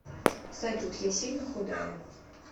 салют я сильно худая